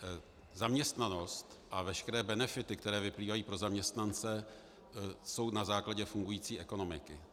Zaměstnanost a veškeré benefity, které vyplývají pro zaměstnance, jsou na základě fungující ekonomiky.